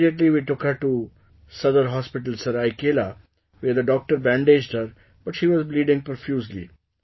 Immediately we took her to Sadar Hospital, Seraikela, where the doctor bandaged her, but she was bleeding profusely